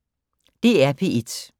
DR P1